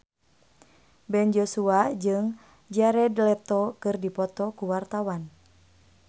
Ben Joshua jeung Jared Leto keur dipoto ku wartawan